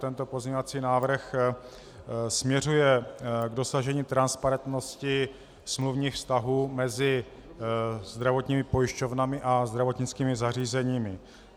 Tento pozměňovací návrh směřuje k dosažení transparentnosti smluvních vztahů mezi zdravotními pojišťovnami a zdravotnickými zařízeními.